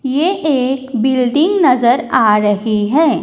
ये एक बिल्डिंग नज़र आ रही है।